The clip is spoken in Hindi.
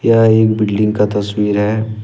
यह एक बिल्डिंग का तस्वीर है।